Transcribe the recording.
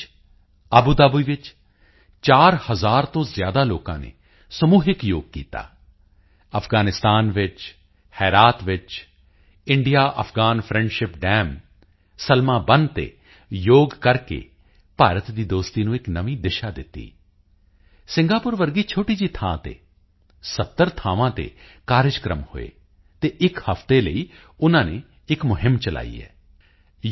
ਵਿੱਚ Abu Dhabi ਵਿੱਚ 4000 ਤੋਂ ਜ਼ਿਆਦਾ ਲੋਕਾਂ ਨੇ ਸਮੂਹਿਕ ਯੋਗ ਕੀਤਾ ਅਫ਼ਗ਼ਾਨਿਸਤਾਨ ਵਿੱਚ ਹੇਰਾਤ ਵਿੱਚ India Afghan friendship dam Salma ਬੰਨ੍ਹ ਤੇ ਯੋਗ ਕਰਕੇ ਭਾਰਤ ਦੀ ਦੋਸਤੀ ਨੂੰ ਇੱਕ ਨਵੀਂ ਦਿਸ਼ਾ ਦਿੱਤੀ ਸਿੰਗਾਪੁਰ ਵਰਗੀ ਛੋਟੀ ਜਿਹੀ ਥਾਂ ਤੇ 70 ਜਗਾ ਤੇ ਕਾਰਜਕ੍ਰਮ ਹੋਏ ਅਤੇ ਇੱਕ ਹਫਤੇ ਲਈ ਉਨ੍ਹਾਂ ਨੇ ਇੱਕ ਮੁਹਿੰਮ ਚਲਾਈ ਹੈ ਯੂ